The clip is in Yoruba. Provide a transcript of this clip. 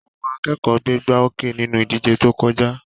Àwọn akẹ́kọ̀ọ́ gbégbáoókè nínú ìdíje tó jọjá.